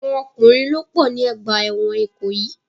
Àwọn ọkùnrin ló pọ̀ ní ọgbà ẹ̀wọ̀n Ìkòyì.